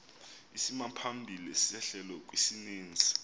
isimaphambili sehlelo kwisininzi